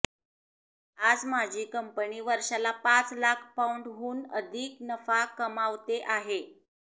आज माझी कंपनी वर्षांला पाच लाख पौंडहून अधिक नफा कमावते आहे